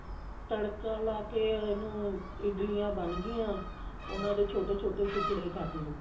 ਤੜਕਾ ਲਾ ਕੇ ਇਹਨੂੰ ਇਡਲੀਆਂ ਬਣ ਗਈ ਉਹਨਾ ਦੇ ਛੋਟੇ ਛੋਟੇ ਟੁਕੜੇ ਕਰ ਲਓ